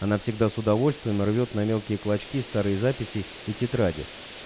она всегда с удовольствием рвёт на мелкие клочки старые записи и тетради